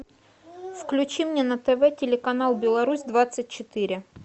включи мне на тв телеканал беларусь двадцать четыре